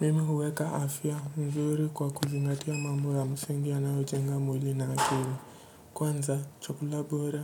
Mimi huweka afya mzuri kwa kuzingatia mambo ya msingi yanayojenga mwili na akili. Kwanza chakula bora